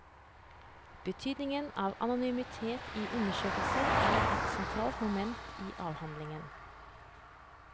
Betydningen av anonymitet i undersøkelser er et sentralt moment i avhandlingen.